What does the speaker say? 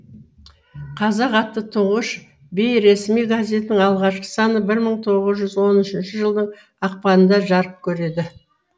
қазақ атты тұңғыш бейресми газетінің алғашқы саны бір мың тоғыз жүз он үшінші жылдың ақпанында жарық көреді